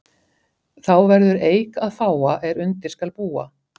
Þá verður eik að fága er undir skal búa.